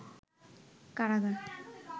কারাগার